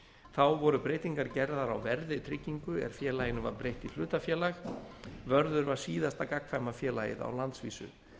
þá voru breytingar gerðar á verði tryggingu er félaginu var breytt í hlutafélag vörður var síðasta gagnkvæma félagið á landsvísu